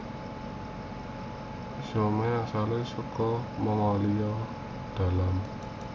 Siomai asalé saka Mongolia dalam